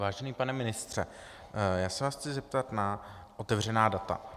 Vážený pane ministře, já se vás chci zeptat na otevřená data.